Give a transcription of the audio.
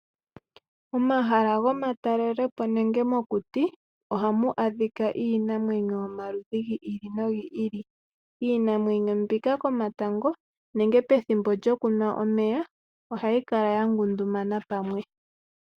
Omahala gomatalelepo nenge mokuti ohamu adhika iinamwenyo yomaludhi gi ili nogi ili. Iinamwenyo mbika komatango nenge pethimbo lyokunwa omeya ohayi kala ya ngundumana pwamwe.